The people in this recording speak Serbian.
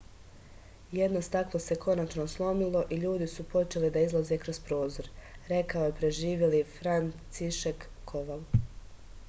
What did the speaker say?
jedno staklo se konačno slomilo i ljudi su počeli da izlaze kroz prozor rekao je preživeli francišek koval